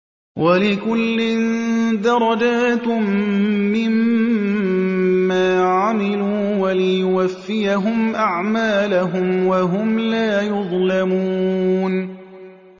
وَلِكُلٍّ دَرَجَاتٌ مِّمَّا عَمِلُوا ۖ وَلِيُوَفِّيَهُمْ أَعْمَالَهُمْ وَهُمْ لَا يُظْلَمُونَ